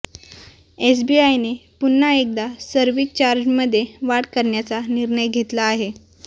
एसबीआयने पुन्हा एकदा सर्व्हिस चार्जमध्ये वाढ करण्याचा निर्णय घेतला आहे